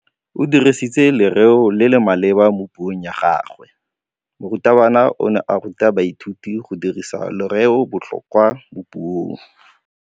O dirisitse lerêo le le maleba mo puông ya gagwe. Morutabana o ne a ruta baithuti go dirisa lêrêôbotlhôkwa mo puong.